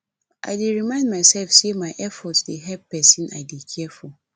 i dey remind myself say my effort dey help the person i dey care for